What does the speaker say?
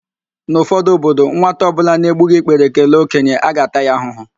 N'ụfọdụ obodo, nwata ọbụla na-egbughi ikpere kelee okenye, a ga-ata ya ahụhụ